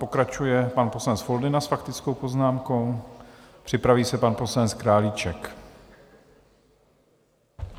Pokračuje pan poslanec Foldyna s faktickou poznámkou, připraví se pan poslanec Králíček.